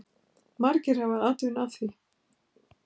Margir hafi atvinnu af því.